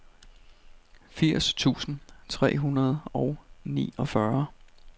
firs tusind tre hundrede og niogfyrre